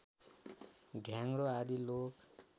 ढ्याङग्रो आदि लोक